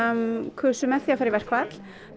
kusu með því að fara í verkfall